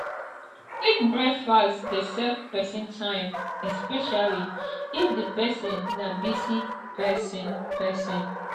quick breakfast dey save person time especially if di person na busy person person